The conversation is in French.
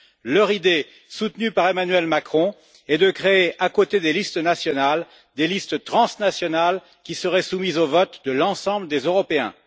Leur idée soutenue par Emmanuel Macron est de créer, à côté des listes nationales, des listes transnationales qui seraient soumises au vote de l'ensemble des Européens.